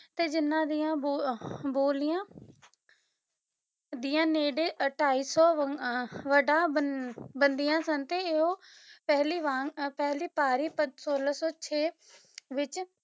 ਤੇ ਜਿੰਨਾਂ ਦੀਆਂ ਬੋ ਅਹ ਬੋਲੀਆਂ ਦੀਆਂ ਨੇੜੇ ਢਾਈ ਸੌ ਅਹ ਵਟਾ ਬਨ ਬਣਦੀਆਂ ਸਨ ਤੇ ਉਹ ਪਹਿਲੀ ਵਾਂਗ ਪਹਿਲੀ ਪਾਰੀ ਪੱਦ ਸੋਲਾਂ ਸੌ ਛੇ ਵਿੱਚ